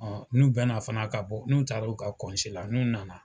n'u bɛna fana ka bɔ n'u taar'u ka la n'u nana,